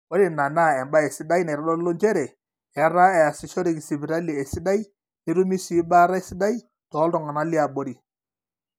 ore ina naa embae sidai naitodolu njere etaa eesishoreki sipitali esidai netumi sii baata esidai tooltung'anak liaborri